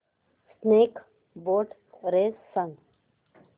snake boat race सांग